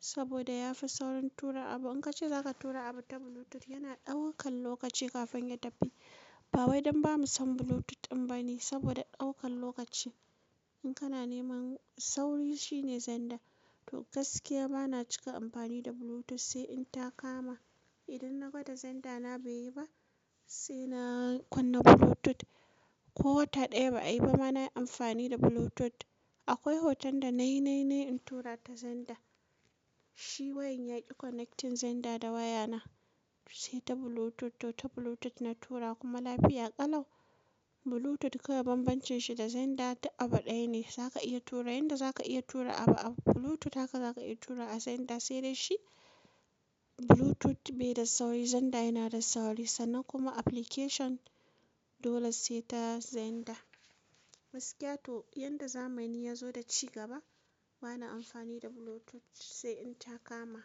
saboda ya fi saurin tura abu. In ka ce za ka tura abu ta Bluetooth yana ɗaukan lokaci kafin ya tafi. Ba wai don ba mu san Bluetooth ɗin ba ne saboda ɗaukan lokaci. In kana neman sauri shine zander. To gaskiya bana cika amfani da Bluetooth sai in ta kama. Idan na gwada zander na bai yi ba sai na kunna Bluetooth. Ko wata ɗaya ba a yi ba ma na yi amfani da Bluetooth. Akwai hoton da na yi na yi ne in tura ta zander. Shi wayan yaƙi connecting zander da wayana sai ta Bluetooth. To ta Bluetooth na tura kuma lafiya ƙalau. Bluetooth kawai bambancin shi da zander ta abu ɗaya ne. Za ka iya tura yadda za ka iya tura abu a Bluetooth haka za ka iya tura a zander. Sai dai shi Bluetooth bai da sauri zander yana da sauri. Sannan kuma application dole sai ta zander. Gaskiya to yadda zamani ya zo da cigaba bana amfani da Bluetooth sai in ta kama.